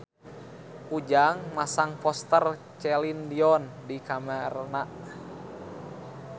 Ujang masang poster Celine Dion di kamarna